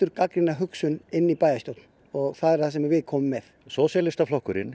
gagnrýna hugsun inn í bæjarstjórn og það er það sem við komum með sósíalistaflokkurinn